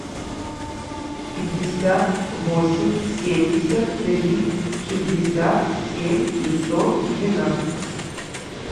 пятьдесят восемь семьдесят три шестьдесят семь пятьсот двенадцать